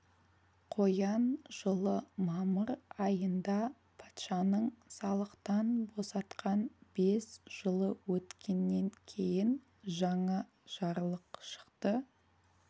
қоян жылы мамыр айында патшаның салықтан босатқан бес жылы өткеннен кейін жаңа жарлық шықты